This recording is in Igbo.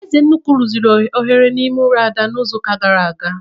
Ezenkwu rụziri oghere n'ime ụlọ Ada n'izuụka gara aga